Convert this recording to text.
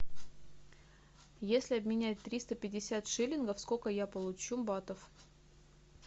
если обменять триста пятьдесят шиллингов сколько я получу батов